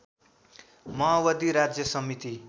माओवादी राज्य समिति